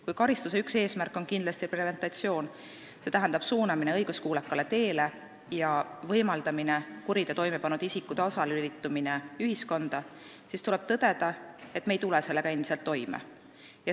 Kui karistuse üks eesmärke on preventsioon, st suunamine õiguskuulekale teele ja see, et kuriteo toime pannud isik saaks taaslülituda ühiskonda, siis tuleb tõdeda, et me ei tule sellega endiselt toime.